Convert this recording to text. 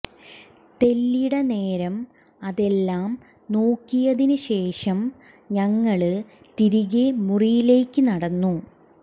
തെല്ലിട നേരം അതെല്ലാം നോക്കിയതിന് ശേഷം ഞങ്ങള് തിരികെ മുറിയിലേക്ക് നടന്നു